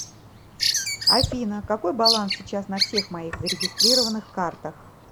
афина какой баланс сейчас на всех моих зарегистрированных картах